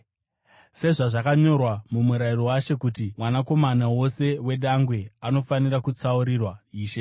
sezvazvakanyorwa muMurayiro waShe, kuti “Mwanakomana wose wedangwe anofanira kutsaurirwa Ishe,”